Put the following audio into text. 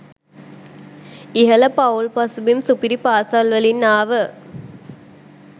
ඉහළ පවුල් පසුබිම් සුපිරි පාසැල්වලින් ආව